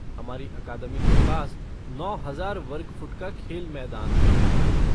हमारी अकादमी के पास नौ हजार वर्ग फ़ुट का खेल मैदान है।